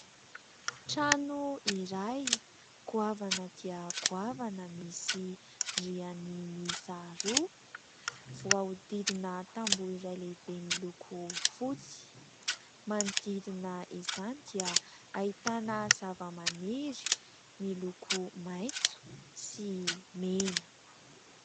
Trano iray, goavana dia goavana misy rihana mihisa roa voahodidina tamboho iray lehibe miloko votsy. Manodidina izany dia ahitana zava-maniry miloko maintso sy mena.